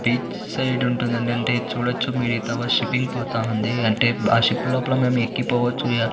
Beach side ఉంటుంది ఏందీ అంటే మీరు చూడచ్చు మీరింతవా షిప్పింగ్ పోతా ఉంది. అంటే ఆ షిప్ లోపల మేము ఏక్కి పోవచ్చు యా --